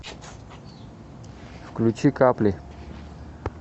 включи капли